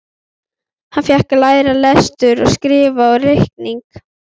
Hann fékk að læra lestur og skrift og reikning.